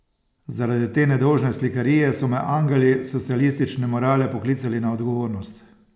Zaradi te nedolžne slikarije so me angeli socialistične morale poklicali na odgovornost.